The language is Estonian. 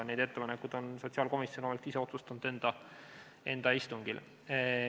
Nende ettepanekute üle on sotsiaalkomisjon ise enda istungil otsustanud.